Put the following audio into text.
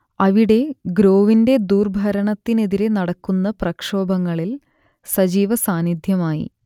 അവിടെ ഗ്രോവിന്റെ ദുർഭരണത്തിനെതിരെ നടക്കുന്ന പ്രക്ഷോഭങ്ങളിൽ സജീവ സാന്നിദ്ധ്യമായി